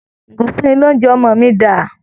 Ìgò ìfúnni-lóunjẹ ọmọ mi dà?